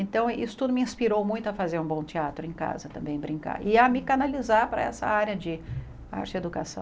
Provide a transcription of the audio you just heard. Então, isso tudo me inspirou muito a fazer um bom teatro em casa, também brincar, e a me canalizar para essa área de arte e educação.